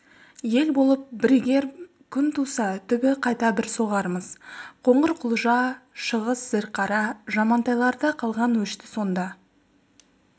ел болып бірігер күн туса түбі қайта бір соғармыз қоңырқұлжа шыңғыс зілқара жамантайларда қалған өшті сонда